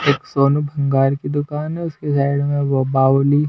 एक सोनू भंगार की दुकान है उसके साइड में वो बावली--